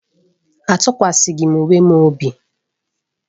Atụkwaghị m onwe m obi.